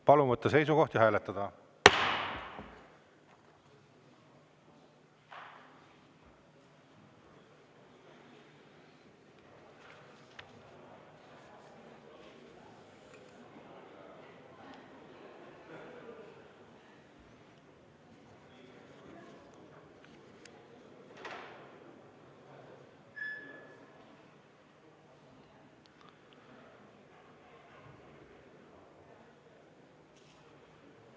Palun võtta seisukoht ja hääletada!